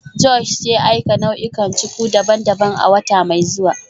Josh zai aika nau'ikan cuku daban-daban a wata mai zuwa